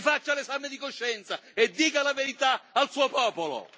Si faccia un esame di coscienza e dica la verità al suo popolo!